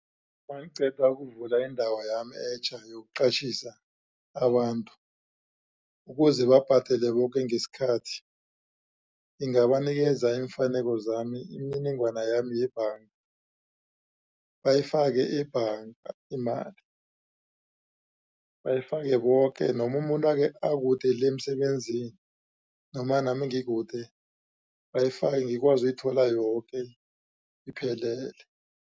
Mangiqeda ukuvula indawo yami etjha yokuqatjhisa abantu ukuze babhadele boke ngesikhathi ngingabanikeza iimfaneko zami imininingwana yami yebhanga bayifake ebhanga imali bayifake boke noma umuntu akude le emsebenzini noma nami bayifake ngikwazi ukuyithola yoke iphelele.